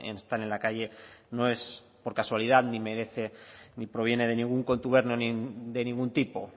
están en la calle no es por casualidad ni merece ni proviene de ningún contubernio de ningún tipo